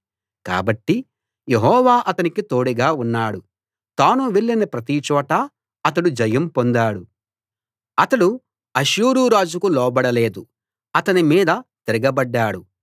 కాబట్టి యెహోవా అతనికి తోడుగా ఉన్నాడు తాను వెళ్లిన ప్రతిచోటా అతడు జయం పొందాడు అతడు అష్షూరు రాజుకు లోబడలేదు అతని మీద తిరగబడ్డాడు